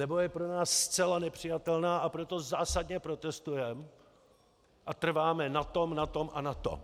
Nebo je pro nás zcela nepřijatelná, a proto zásadně protestujeme a trváme na tom, na tom a na tom.